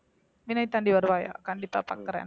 விண்ணைத் தாண்டி வருவாயா கண்டிப்பா பார்க்கிறேன்